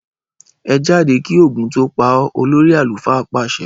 Ẹ jáde kí Ògún tó pa ọ! Olórí àlùfáà pàsẹ.